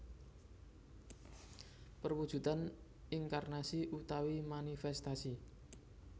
Perwujudan inkarnasi utawi manifestasi